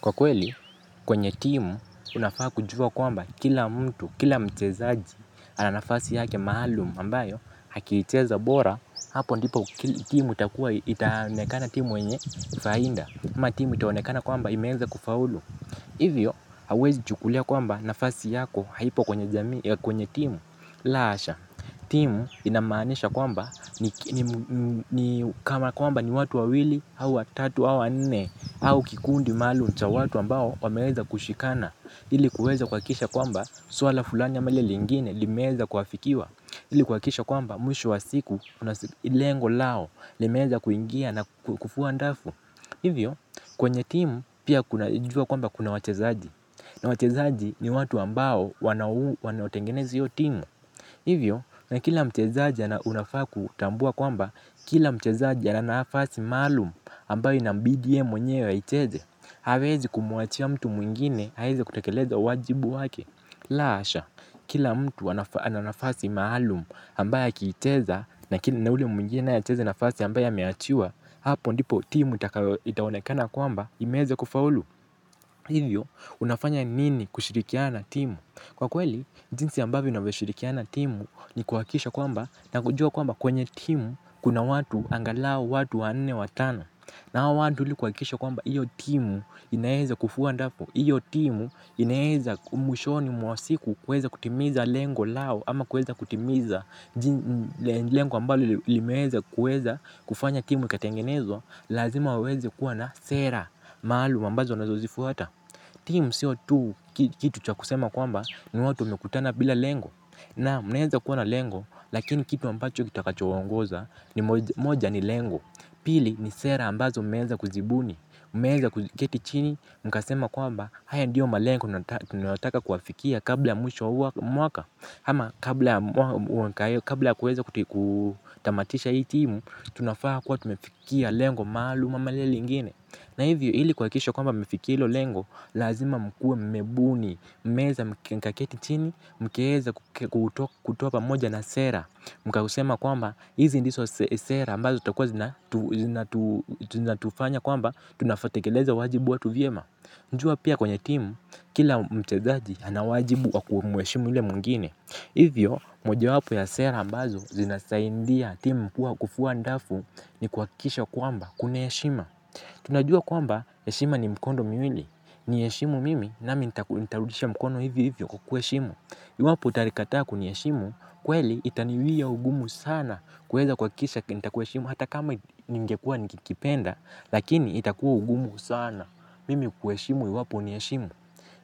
Kwa kweli, kwenye timu, unafaa kujua kwamba kila mtu, kila mchezaji, ana nafasi yake maalumu ambayo akiicheza bora, hapo ndipo timu itaonekana timu wenye faida, na timu itaonekana kwamba imeeza kufaulu. Hivyo, hauwezi chukulia kwamba nafasi yako haipo kwenye timu. La hasha, timu inamaanisha kwamba kama kwamba ni watu wawili, au watatu, au wanne au kikundi maalumu cha watu ambao wameweza kushikana ili kuweza kuhakikisha kwamba swala fulani ama lile lingine limeweza kuafikiwa ili kuhakisha kwamba mwisho wa siku, lengo lao limeeza kuingia na kufuwa dafu. Hivyo, kwenye timu pia kuna jua kwamba kuna wachezaji na wachezaji ni watu ambao wanaotengenezi hiyo timu. Hivyo, na kila mchezaji unafaa kutambua kwamba kila mchezaji ana nafasi maalumu ambayo inambidi yeye mwenyewe aicheze, hawezi kumuachia mtu mwingine aweze kutekeleza wajibu wake. La hasha, kila mtu ana nafasi maalumu ambayo akiicheza na ule mwingina acheze ile nafasi ambayo ameachiwa hapo ndipo timu itaonekana kwamba imeeza kufaulu. Hivyo, unafanya nini kushirikiana na timu? Kwa kweli, jinsi ambavyo ninavyoshirikiana na timu ni kuhakiksha kwamba na kujua kwamba kwenye timu kuna watu angalao watu wanne watano. Na hao watu ili kuhakikisha kwamba hiyo timu inaeza kufua dafu, hiyo timu inaeza mwishoni mwa siku kuweza kutimiza lengo lao ama kuweza kutimiza lengo ambalo limeeza kufanya timu ikatengenezwa, lazima waweze kuwa na sera maalum ambazo wanazozifuata. Timu siyo tu kitu cha kusema kwamba ni watu wamekutana bila lengo. Naam naeza kuwa na lengo lakini kitu ambacho kitakachowaongoza ni moja ni lengo. Pili ni sera ambazo mmeeza kuzibuni. Mmeeza kuketi chini mkasema kwamba haya ndiyo malengo tunataka kuafikia kabla ya mwisho wa mwaka ama kabla kuweza kutamatisha hii timu tunafaa kuwa tumefikia lengo maalum ama lile lingine. Na hivyo ili kuhakikisha kwamba mmefikia hilo lengo, lazima mkuwe mmebuni, mmeeza mkaketi chini, mkaeza kutoka moja na sera. Mkausema kwamba, hizi ndizo sera ambazo zitakuwa zinatu zinatufanya kwamba, tunavyotekeleza wajibu watu vyema. Jua pia kwenye timu, kila mchezaji ana wajibu wa kumuheshimu ule mwingine. Hivyo mojawapo wa sera ambazo ya sera ambazo zinasaidia timu kuwa kufua dafu ni kuhakikisha kwamba kuna heshima. Tunajua kwamba heshima ni mkondo miwili, niheshimu mimi nami nitarudisha mkono hivyo hivyo kukuheshimu. Iwapo utanikataa kuniheshimu kweli itaniwia ugumu sana kuweza kuwahakikisha kukuheshimu hata kama ningekuwa nikipenda. Lakini itakuwa ugumu sana mimi kukuheshimu iwapo huniheshimu.